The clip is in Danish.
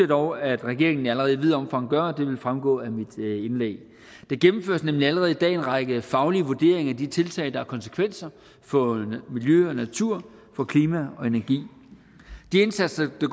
dog at regeringen allerede i vidt omfang gør og det vil fremgå af mit indlæg der gennemføres nemlig allerede i dag en række faglige vurderinger af de tiltag der har konsekvenser for miljø og natur for klima og energi de indsatser der